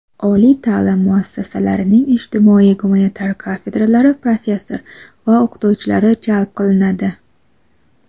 oliy ta’lim muassasalarining ijtimoiy gumanitar kafedralari professor va o‘qituvchilari jalb qilinadi.